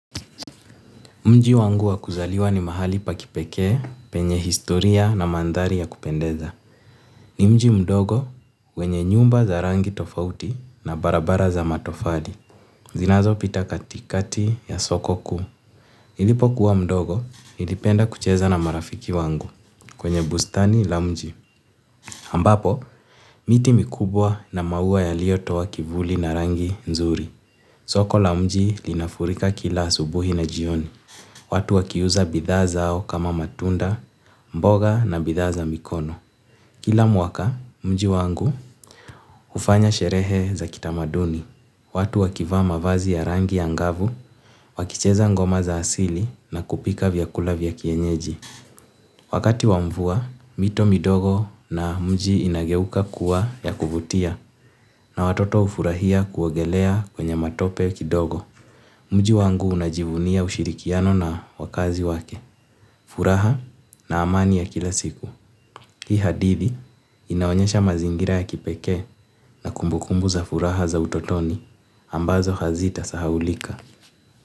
Mji wangu wa kuzaliwa ni mahali pa kipekee penye historia na mandhari ya kupendeza. Ni mji mdogo wenye nyumba za rangi tofauti na barabara za matofali. Zinazopita katikati ya soko kuu. Nilipokuwa mdogo, nilipenda kucheza na marafiki wangu kwenye bustani ya mji. Ambapo, miti mikubwa na maua yalitoa kivuli na rangi nzuri. Soko la mji linafurika kila asubuhi na jioni. Watu wakiuza bidhaa zao kama matunda, mboga na bidhaa za mikono. Kila mwaka, mji wangu hufanya sherehe za kitamaduni. Watu wakivaa mavazi ya rangi angavu, wakicheza ngoma za asili na kupika vyakula vya kienyeji. Wakati wa mvua, mito midogo na mji inageuka kuwa ya kuvutia na watoto hufurahia kuogelea kwenye matope kidogo. Mji wangu unajivunia ushirikiano na wakazi wake. Furaha na amani ya kila siku. Hii hadithi inaonyesha mazingira ya kipekee na kumbukumbu za furaha za utotoni ambazo hazitasahaulika.